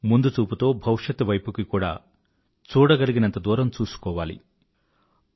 ముందుచూపుతో భవిష్యత్తు వైపుకి కూడా చూడగలిగినంత దూరం చూసుకోవాల్సిన అవసరం ఎంతైనా ఉంది